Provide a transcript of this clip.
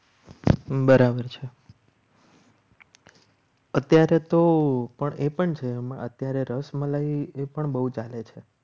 બરાબર છે અત્યારે તો પણ એ પણ છે. અત્યારે રસ મલાઈ એ પણ બહુ ચાલે છે.